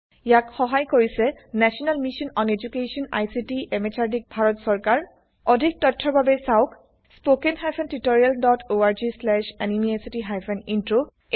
ইয়াক সহাই কৰিছে national mission on educational ICT MHRD Bharat চৰকাৰ অধিক তথ্যৰ বাবে চাওক spoken hyphen tutorial dot O R G slash NMEICT hyphen intro